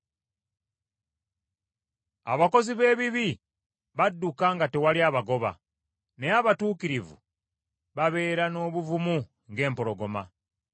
Abakozi b’ebibi badduka nga tewali abagoba, naye abatuukirivu babeera n’obuvumu ng’empologoma.